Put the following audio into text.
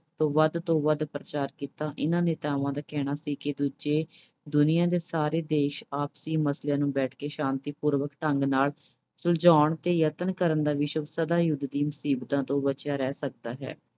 ਦਾ ਵੱਧ ਤੋਂ ਵੱਧ ਪ੍ਰਚਾਰ ਕੀਤਾ। ਇਨ੍ਹਾਂ ਨੇਤਾਵਾਂ ਦਾ ਕਹਿਣਾ ਸੀ ਕਿ ਦੂਜੇ ਅਹ ਦੁਨੀਆਂ ਦੇ ਸਾਰੇ ਦੇਸ਼ ਆਪਸੀ ਮਸਲਿਆਂ ਨੂੰ ਬੈਠ ਕੇ ਸ਼ਂਤੀਪੂਰਨ ਢੰਗ ਨਾਲ ਸੁਲਝਾਉਣ ਤੇ ਯਤਨ ਕਰਨ ਦਾ ਸਦਾ ਯੁੱਧ ਦੀਆਂ ਮੁਸੀਬਤਾਂ ਤੋਂ ਬਚਿਆ ਰਹਿ ਸਕਦਾ ਹੈ।